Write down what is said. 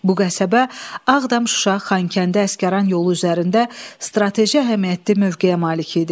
Bu qəsəbə Ağdam, Şuşa, Xankəndi, Əsgəran yolu üzərində strateji əhəmiyyətli mövqeyə malik idi.